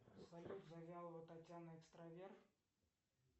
салют завьялова татьяна экстраверт